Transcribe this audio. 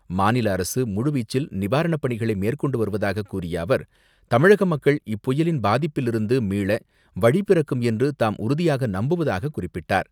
மாநில அரசு முழுவீச்சில் நிவாரணப்பணிகளை மேற்கொண்டு வருவதாக கூறிய அவர், தமிழக மக்கள் இப்புயலின் பாதிப்பிலிருந்து மீள வழிபிறக்கும் என்று தாம் உறுதியாக நம்புவதாக குறிப்பிட்டார்.